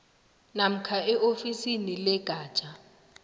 namkha eofisini legatja